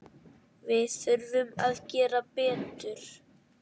Við þurfum að gera betur.